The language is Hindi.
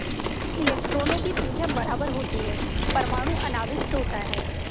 इलेक्ट्रॉनों की संख्या बराबर होती है परमाणु अनाविष्ट होता है